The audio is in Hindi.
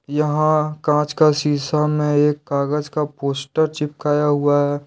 यहां कांच का शिशा में एक कागज का पोस्टर चिपकाए हुआ है।